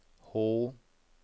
H